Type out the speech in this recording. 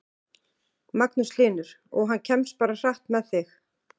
Magnús Hlynur: Og hann kemst bara hratt með þig?